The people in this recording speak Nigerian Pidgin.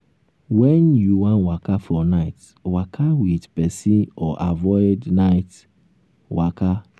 when you wan waka for night waka with person or avoid night waka